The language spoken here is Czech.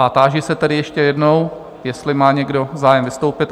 A táži se tedy ještě jednou, jestli má někdo zájem vystoupit?